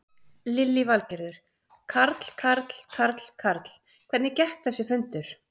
Lillý Valgerður: Karl, Karl, Karl, Karl, hvernig gekk þessi fundur?